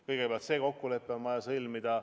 Kõigepealt on vaja kokkulepe sõlmida.